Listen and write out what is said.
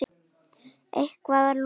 Eitthvað að lokum?